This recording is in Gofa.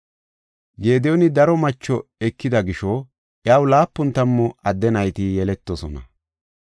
Gediyooni daro macho ekida gisho, iyaw laapun tammu adde nayti yeletidosona.